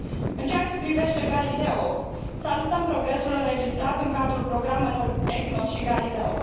În ceea ce privește Galileo, salutăm progresul înregistrat în cadrul programelor EGNOS și GALILEO.